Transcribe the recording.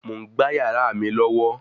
Mò ń gbá yàrá mi lọ́wọ́